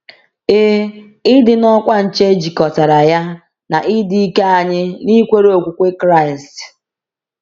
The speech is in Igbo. Ee, ịdị n’ọkwa nche jikọtara ya na ịdị ike anyị n’ikwere okwukwe Kraịst.